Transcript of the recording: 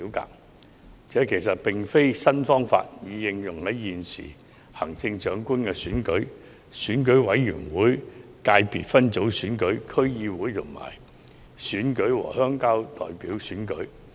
其實這不是一個新方法，這個方法已應用在現時的行政長官選舉、選舉委員會界別分組選舉、區議會選舉和鄉郊代表選舉。